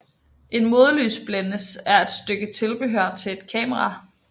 En modlysblændes er et stykke tilbehør til et kamera